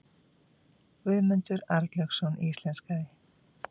Guðmundur Arnlaugsson íslenskaði.